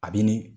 A bi ni